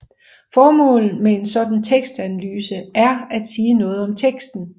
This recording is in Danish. Formålet med en sådan tekstanalyse er at sige noget om teksten